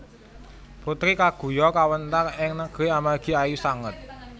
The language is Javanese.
Putri Kaguya kawéntar ing negeri amargi ayu sanget